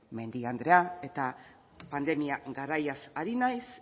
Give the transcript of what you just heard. mendia andrea eta pandemia garaiaz ari naiz